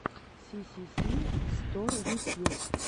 сисиси стор ютьюб